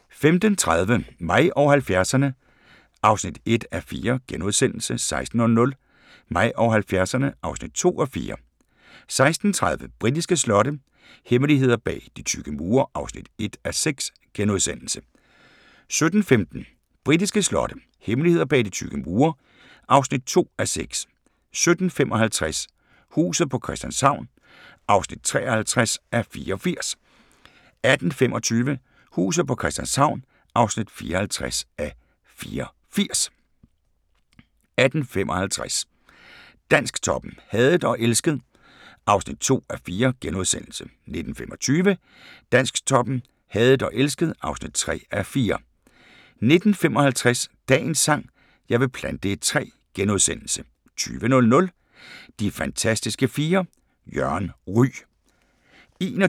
15:30: Mig og 70'erne (1:4)* 16:00: Mig og 70'erne (2:4) 16:30: Britiske slotte – hemmeligheder bag de tykke mure (1:6)* 17:15: Britiske slotte – hemmeligheder bag de tykke mure (2:6) 17:55: Huset på Christianshavn (53:84) 18:25: Huset på Christianshavn (54:84) 18:55: Dansktoppen: Hadet og elsket (2:4)* 19:25: Dansktoppen: Hadet og elsket (3:4) 19:55: Dagens sang: Jeg vil plante et træ * 20:00: De fantastiske fire: Jørgen Ryg